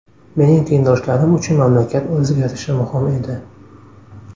Mening tengdoshlarim uchun mamlakat o‘zgarishi muhim edi.